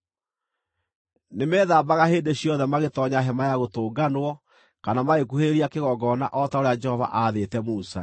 Nĩmethambaga hĩndĩ ciothe magĩtoonya Hema-ya-Gũtũnganwo kana magĩkuhĩrĩria kĩgongona o ta ũrĩa Jehova aathĩte Musa.